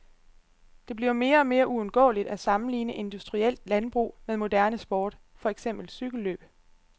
Det bliver mere og mere uundgåeligt at sammenligne industrielt landbrug med moderne sport, for eksempel cykellløb.